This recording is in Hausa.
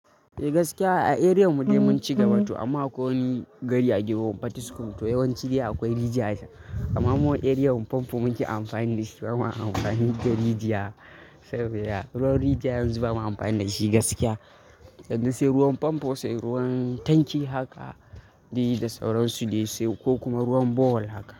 Gaskiya a area mu dai mun ci gaba to amma ko wani gari a Giwow, Patiskum to yawanci akwai rigija acen. Amma mu a area Famfo muke anfani dashi, bama anfani da rigija. Ruwan Rigija yanzu ba ma amfani da shi gaskiya, yanzu sai ruwan Famfo sai ruwan Tanki haka dai da sauransu dai sai ko kuma ruwan borehole haka.